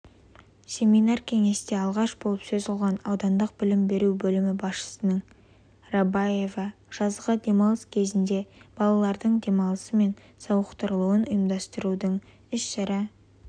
семинар-кеңесте алғаш болып сөз алған аудандық білім беру бөлімі басшысының рабаева жазғы демалыс кезенінде балалардың демалысы мен сауықтырылуын ұйымдастырудың іс шара